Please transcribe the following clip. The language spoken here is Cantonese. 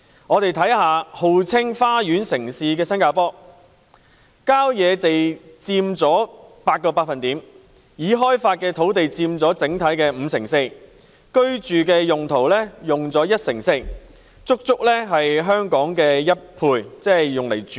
看看號稱花園城市的新加坡，郊野地帶佔總面積 8%， 已開發土地佔五成四，住宅用地佔一成四——足足是香港住宅土地的兩倍。